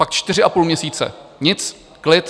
Pak čtyři a půl měsíce nic, klid.